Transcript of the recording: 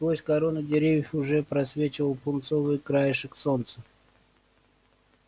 сквозь короны деревьев уже просвечивал пунцовый краешек солнца